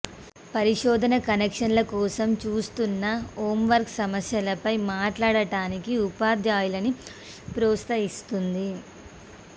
పరిశోధన కనెక్షన్ల కోసం చూస్తున్న హోంవర్క్ సమస్యలపై మాట్లాడటానికి ఉపాధ్యాయులను ప్రోత్సహిస్తుంది